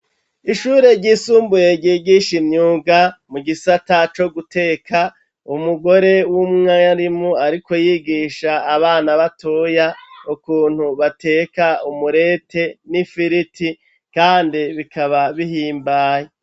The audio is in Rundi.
Ishure ryisumbuye, ryigisha imyuga, mu gisata co guteka, umugore w'umwarimu, ariko yigisha abana batoya, ukuntu bateka umurete n'ifiriti, kandi bikaba bihimbaye.